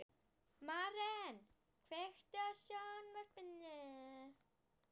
Maren, kveiktu á sjónvarpinu.